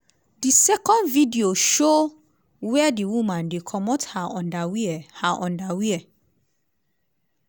di second video show wia di woman dey comot her underwear. her underwear.